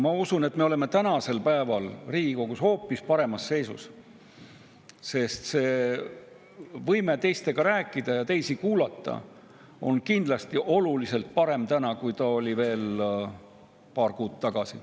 Ma usun, et me oleme tänasel päeval Riigikogus hoopis paremas seisus, sest võime teistega rääkida ja teisi kuulata on kindlasti oluliselt parem, kui see oli veel paar kuud tagasi.